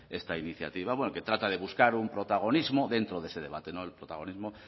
esta iniciativa que trata de buscar un protagonismo dentro de ese debate no el protagonismo